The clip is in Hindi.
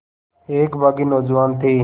एक बाग़ी नौजवान थे